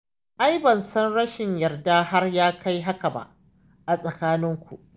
Ai ban san rashin yarda har ya kai haka ba a tsakaninku.